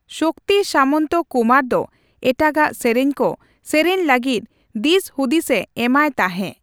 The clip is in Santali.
ᱥᱚᱠᱛᱤ ᱥᱟᱢᱚᱱᱛᱚ ᱠᱩᱢᱟᱨ ᱫᱚ ᱮᱴᱟᱜᱟᱜ ᱥᱮᱨᱮᱧᱠᱚ ᱥᱮᱨᱮᱧ ᱞᱟᱹᱜᱤᱫ ᱫᱤᱥᱦᱩᱫᱤᱥ ᱮ ᱮᱢᱟᱭ ᱛᱟᱸᱦᱮ ᱾